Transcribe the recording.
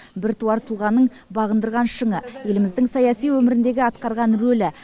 біртуар тұлғаның бағындырған шыңы еліміздің саяси өміріндегі атқарған рөлі